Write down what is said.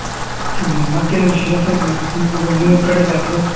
ಮತ್ತೇನ್ ವಿಶೇಷತೆ ಜಾತ್ರಿ, ನಿಮ್ ನಿಮ್ ಊರ್ ಕಡೆ ಜಾತ್ರೇ.